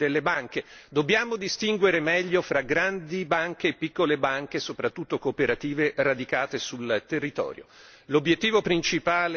ciò che fanno i vertici delle banche. Dobbiamo distinguere meglio fra banche grandi e piccole, soprattutto cooperative, radicate sul territorio.